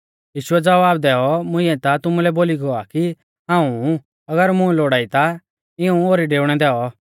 यीशुऐ ज़वाब दैऔ मुंइऐ ता तुमुलै बोली गौ आ कि हाऊं ऊ अगर मुं लोड़ाई ता इऊं ओरी डेउणै दैऔ